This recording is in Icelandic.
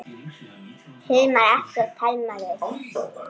Hilmar Atli og Thelma Rut.